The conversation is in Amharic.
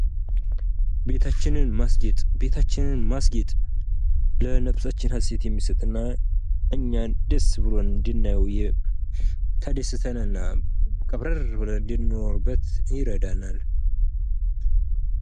ቤታችንን ማስጌጥ ፦ቤታችንን ማስጌጥ ለነፍሳችን ሀሴት የሚሰጥ እና እኛን ደስ ብሎን እንድናየው ተደስተን እና ቀብረር ብለን እንድንኖርበት ይረዳናል።